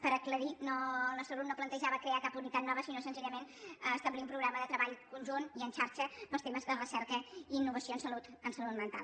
per aclarir ho el nostre grup no plantejava crear cap unitat nova sinó senzillament establir un programa de treball conjunt i en xarxa per als temes de recerca i innovació en salut mental